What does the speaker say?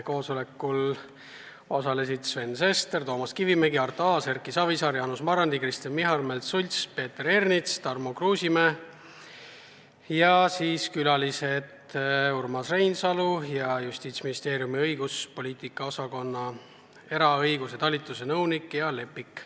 Koosolekul osalesid Sven Sester, Toomas Kivimägi, Arto Aas, Erki Savisaar, Jaanus Marrandi, Kristen Michal, Märt Sults, Peeter Ernits, Tarmo Kruusimäe ja külalistena Urmas Reinsalu ja Justiitsministeeriumi õiguspoliitika osakonna eraõiguse talituse nõunik Gea Lepik.